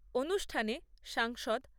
অনুষ্ঠানে সাংসদ